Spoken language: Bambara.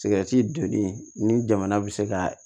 sigɛriti donni ni jamana bɛ se ka